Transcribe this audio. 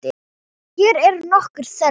Hér eru nokkur þeirra.